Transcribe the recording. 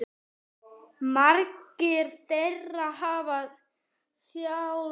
Margir þeirra hafa þjáðst.